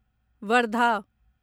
Wardha